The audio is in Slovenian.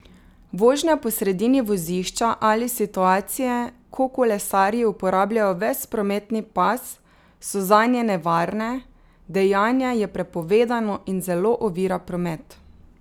Vožnja po sredini vozišča ali situacije, ko kolesarji uporabljajo ves prometni pas, so zanje nevarne, dejanje je prepovedano in zelo ovira promet.